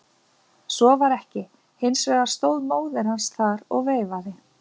Svo var ekki, hins vegar stóð móðir hans þar og veifaði.